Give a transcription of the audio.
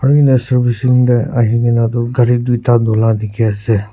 e na servicing teh ahi kena tu gari duita dulah dikhi ase.